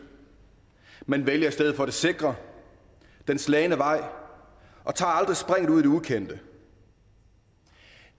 man vælger i stedet for det sikre den slagne vej og tager aldrig springet ud i det ukendte